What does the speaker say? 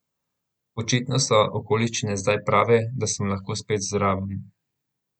Očitno so okoliščine zdaj prave, da sem lahko spet zraven.